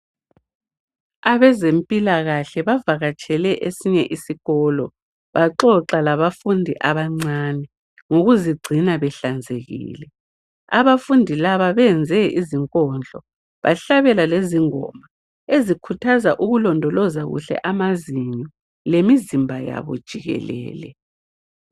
Abezempilakahle bavakatshele esinye isikolo baxoxa labafundi abancane ngokuzingcina behlanzekile abafundi labo benze izinkodlo bahlabela lezingoma ezikhuthaza ukulodoloza kuhle amazinyo lemizimba yabo jikelele